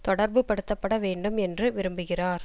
தொடர்பு படுத்தப்பட வேண்டும் என்று விரும்புகிறார்